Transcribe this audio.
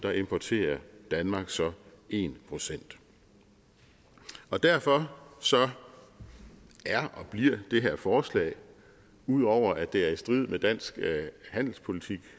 importerer danmark så en procent derfor er og bliver det her forslag ud over at det er i strid med dansk handelspolitik